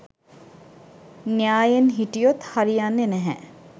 න්‍යායෙන් හිටියොත් හරි යන්නේ නැහැ